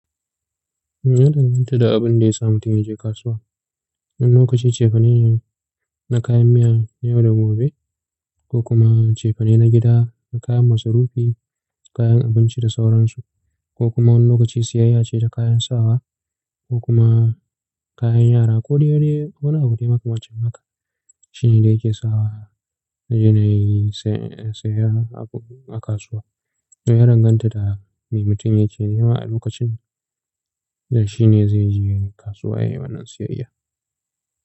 Ya danganta da abin da ya sa mutum zai je kasuwa. Wani lokaci cefane na kayan miya yau da gobe ko kuma cefane na gida na kayan masu rufi, kayan abinci da sauransu ko kuma wani lokaci siyayya ce ta kayan sawa ko kuma kayan yara ko dai wani abu dai maka wancan maka shine dai yake sawa ya je ya yi siyayya a kasuwa. To ya danganta da me mutum yake nema a lokacin da shi ne zai je gani kasuwa ya yi wannan siyayya.